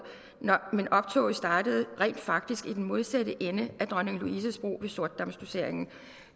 men optoget startede rent faktisk i den modsatte ende af dronning louises bro ved sortedam dossering